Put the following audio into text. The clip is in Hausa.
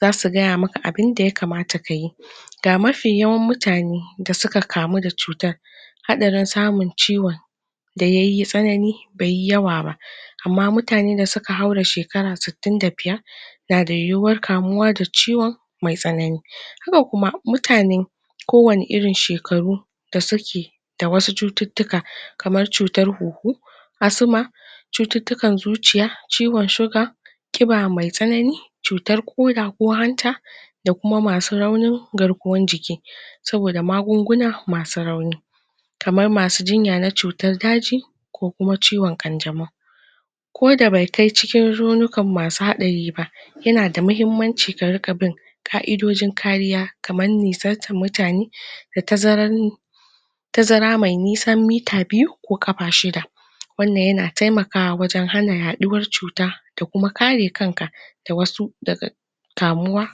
za su gaya maka abin da ya kamata ka yi da mafi yawan mutane da suka kamu da cutar, hadarin samun ciwon da yayi tsanani beyi yawa ba amma mutane da suka haura shekaran su tun na da yuhuwar kamuwa da ciwon, mai tsanani. Haka kuma mutane ko wane irin shekaru da suke da wasu cututuka kamar cutar huhu asuma, cuttutukan zuciya, ciwon shuga kiba me tsanana cutan koda ko hanta da kuma masu raunin garkuwan jiki. saboda magunguna masu rauni kamar masu junya na cutar daji ko kuma ciwon kanjamau ko da be kai cikin yana da mahimmanci ka riga bin ka'idodin kariya kaman mutane da tazaran tazara me nisa mita biyu ko kafa shida wannan yana taimakawa wajen hana haduwan cuta da kuma kare kanka da wasu daga kamuwa